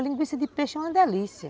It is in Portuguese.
A linguiça de peixe é uma delícia.